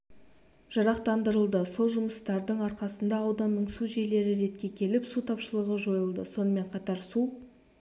жарақтандырылды сол жұмыстардың арқасында ауданның су жүйелері ретке келіп су тапшылығы жойылды сонымен қатар су